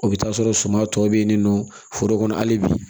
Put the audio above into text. O bɛ taa sɔrɔ suma tɔ bɛ yen nin nɔ foro kɔnɔ hali bi